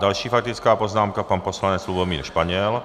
Další faktická poznámka, pan poslanec Lubomír Španěl.